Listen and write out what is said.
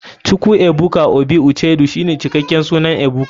chukwuebuka obi uchedu shine cikaken sunan ebuka.